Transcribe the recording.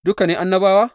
Duka ne annabawa?